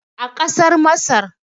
a kasar masar